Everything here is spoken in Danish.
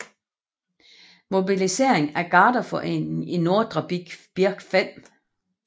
Mobiliseringen af Garderforeningen i Nordre Birk 5